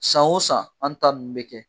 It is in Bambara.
San o san an ta nn bɛ kɛ.